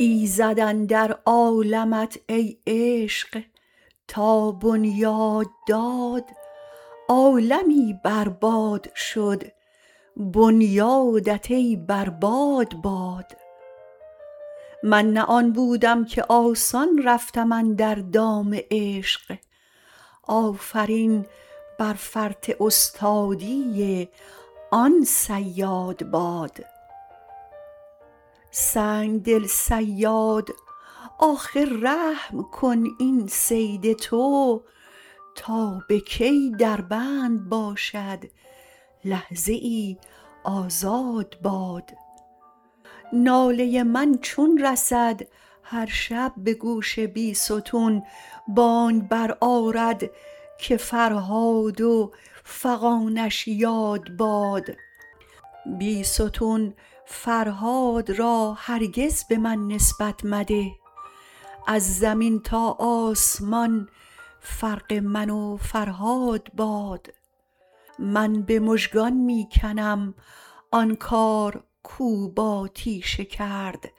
ایزد اندر عالمت ای عشق تا بنیاد داد عالمی بر باد شد بنیادت ای بر باد باد من نه آن بودم که آسان رفتم اندر دام عشق آفرین بر فرط استادی آن صیاد باد سنگدل صیاد آخر رحم کن این صید تو تا به کی در بند باشد لحظه ای آزاد باد ناله من چون رسد هرشب به گوش بیستون بانگ برآرد که فرهاد و فغانش یاد باد بیستون فرهاد را هرگز به من نسبت مده از زمین تا آسمان فرق من و فرهاد باد من به مژگان می کنم آن کار کو با تیشه کرد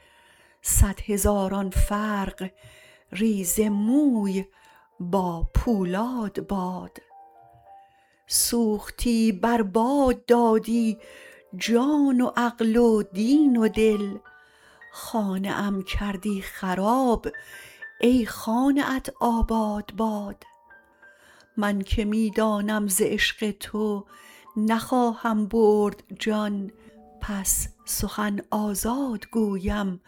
صدهزاران فرق ریزه موی با پولاد باد سوختی بر باد دادی جان و عقل و دین و دل خانه ام کردی خراب ای خانه ات آباد باد من که می دانم ز عشق تو نخواهم برد جان پس سخن آزاد گویم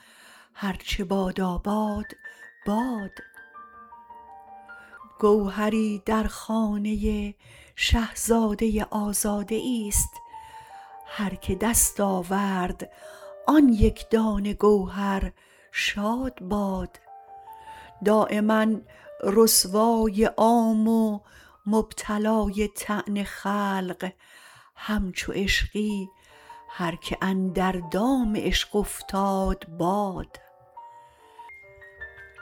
هرچه باداباد باد گوهری در خانه شهزاده آزاده ای ست هرکه دست آورد آن یکدانه گوهر شاد باد دایما رسوای عام و مبتلای طعن خلق همچو عشقی هرکه اندر دام عشق افتاد باد